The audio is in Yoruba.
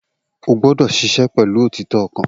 O gbọ́dọ̀ ṣiṣẹ́ pẹ̀lú òtítọ́ ọkàn